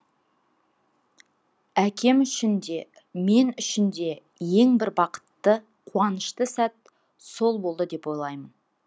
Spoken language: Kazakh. әкем үшін де мен үшін де ең бір бақытты қуанышты сәт сол болды деп ойлаймын